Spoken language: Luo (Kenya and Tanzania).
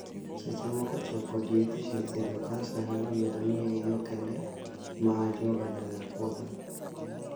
Seche moko tiyo kod yedhe e thiedho Kansa nyalo bedo ni e yoo kende ma ajuoga nyalo puodho.